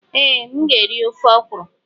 Ee, m ga-eri ofe ọkwuru.